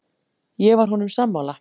Ég var honum sammála.